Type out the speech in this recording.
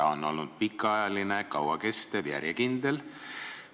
See on olnud pikaajaline, kauakestev ja järjekindel asi.